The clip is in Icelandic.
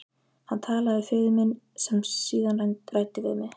Hann talaði við föður minn sem síðan ræddi við mig.